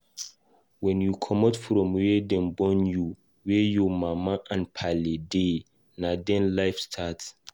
When u comot from where Dem born u, where ur mama n pale dey nah na then life start